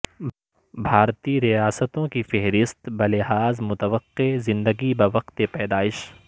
بھارتی ریاستوں کی فہرست بلحاظ متوقع زندگی بہ وقت پیدائش